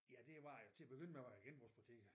Ja det var til at begynde med var det genbrugsbutikker